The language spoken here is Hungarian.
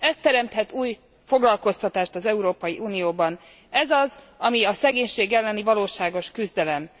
Ez teremthet új foglalkoztatást az Európai Unióban, ez az, ami a szegénység elleni valóságos küzdelem.